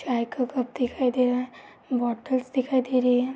चाय का कप दिखाई दे रहा है। बोटल्स दिखाई दे रही हैं।